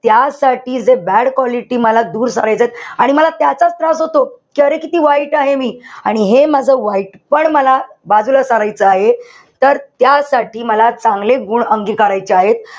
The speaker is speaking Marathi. त्या साठी जे bad quality मला दूर करायचेत. आणि मला त्याचाच त्रास होतो. कि अरे किती वाईट आहे मी. आणि हे माझा वाईटपण मला बाजूला करायचं आहे. तर त्यासाठी मला चांगले गुण अंगिकारायचे आहे.